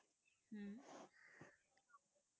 ਹਮ